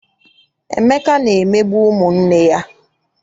Emeka na-emegbu ụmụ nne ya.